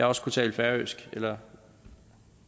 også kunne tale færøsk eller